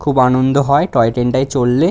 খুব আনন্দ হয় টয় ট্রেন -টায় চড়লে।